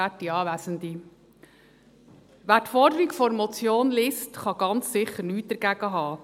Wer die Forderung der Motion liest, kann ganz sicher nichts dagegen haben.